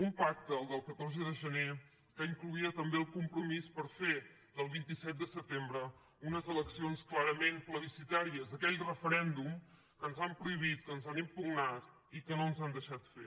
un pacte el del catorze de gener que incloïa també el compromís per fer del vint set de setembre unes eleccions clarament plebiscitàries aquell referèndum que ens han prohibit que ens han impugnat i que no ens han deixat fer